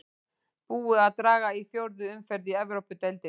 Búið er að draga í fjórðu umferð í Evrópudeildinni.